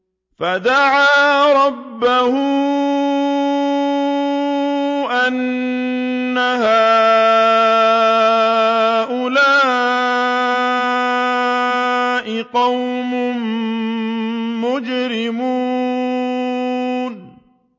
فَدَعَا رَبَّهُ أَنَّ هَٰؤُلَاءِ قَوْمٌ مُّجْرِمُونَ